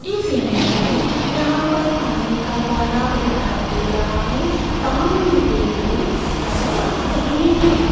इस इमेज में यहां पर पानी का तालाब दिखाई दे रहा है सामने पेड़ भी नजर आ रहे हैं।